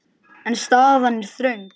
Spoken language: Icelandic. En staðan er þröng.